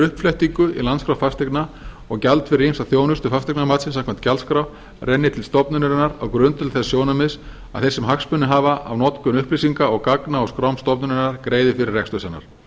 uppflettingu í landskrá fasteigna og gjald fyrir ýmsa þjónustu fasteignamatsins samkvæmt gjaldskrá renni til stofnunarinnar á grundvelli þess sjónarmiðs að þeir sem hagsmuni hafa af notkun upplýsinga og gagna á skrám stofnunarinnar greiði fyrir rekstur hennar